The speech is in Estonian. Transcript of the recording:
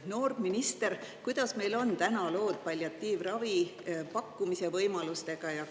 Noor minister, kuidas meil on täna lood palliatiivravi pakkumise võimalustega?